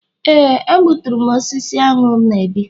Éè, a gbuturu m osisi aṅụ na-ebi.